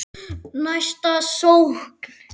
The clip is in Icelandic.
Næsta sókn.